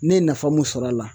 Ne ye nafa mun sɔr'a la